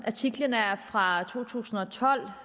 artiklen er fra to tusind og tolv